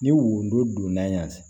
Ni wo donna yan